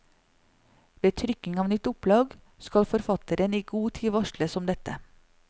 Ved trykking av nytt opplag skal forfatteren i god tid varsles om dette.